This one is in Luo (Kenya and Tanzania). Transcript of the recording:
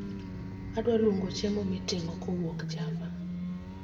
Adwa luongo chiemo miting'o kowuok java